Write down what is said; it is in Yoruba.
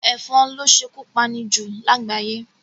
Èfon lo sékú pani jù lágbàyé